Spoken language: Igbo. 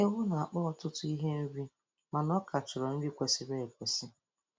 Ewu na-akpa ọtụtụ ihe nri mana ọ ka chọrọ nri kwesịrị ekwesị.